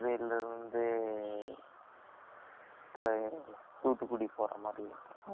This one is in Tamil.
தூத்துக்குடி போற மாதிரி.வேற train இல்லையே